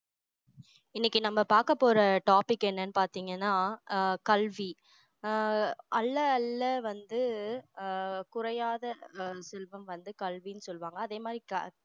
இன்னைக்கு நம்ம பார்க்கப்போற topic என்னன்னு பார்த்தீங்கன்னா ஆஹ் கல்வி ஆஹ் அள்ள அள்ள வந்து ஆஹ் குறையாத அஹ் செல்வம் வந்து கல்வின்னு சொல்லுவாங்க அதே மாதிரி